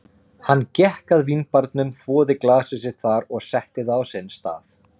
Hann gekk að vínbarnum, þvoði glasið sitt þar og setti það á sinn stað.